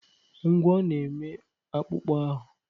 Ngwọ́ na-eme akpụkpọ ahụ.